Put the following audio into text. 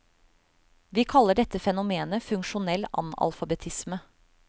Vi kaller dette fenomenet funksjonell analfabetisme.